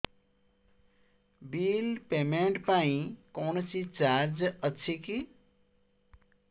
bill payment ପାଇଁ କୌଣସି charge ଅଛି କି